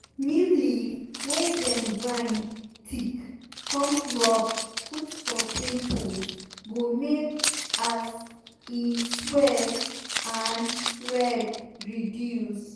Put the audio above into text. neem leaf wey dem grind thick come rub put for pimples go make as e swell and red reduce.